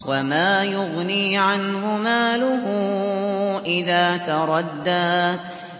وَمَا يُغْنِي عَنْهُ مَالُهُ إِذَا تَرَدَّىٰ